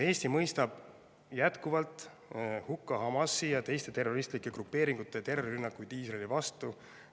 Eesti mõistab jätkuvalt hukka Hamasi ja teiste terroristlike grupeeringute terrorirünnakud Iisraeli vastu.